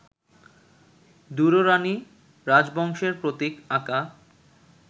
দুররানি রাজবংশের প্রতীক আঁকা